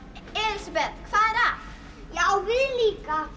Elísabet hvað er að já við líka